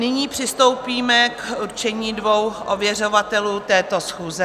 Nyní přistoupíme k určení dvou ověřovatelů této schůze.